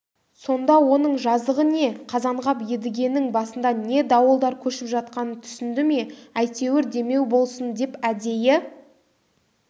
сонда оның жазығы не қазанғап едігенің басында не дауылдар көшіп жатқанын түсінді ме әйтеуір демеу болсын деп әдейі